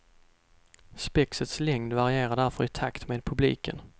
Spexets längd varierar därför i takt med publiken.